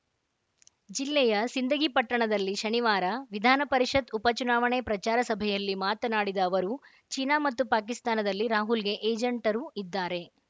ಜಿಲ್ಲೆಯ ಸಿಂದಗಿ ಪಟ್ಟಣದಲ್ಲಿ ಶನಿವಾರ ವಿಧಾನ ಪರಿಷತ್‌ ಉಪ ಚುನಾವಣೆ ಪ್ರಚಾರ ಸಭೆಯಲ್ಲಿ ಮಾತನಾಡಿದ ಅವರು ಚೀನಾ ಮತ್ತು ಪಾಕಿಸ್ತಾನದಲ್ಲಿ ರಾಹುಲ್‌ಗೆ ಏಜೆಂಟರು ಇದ್ದಾರೆ